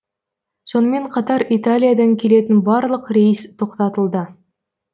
сонымен қатар италиядан келетін барлық рейс тоқтатылды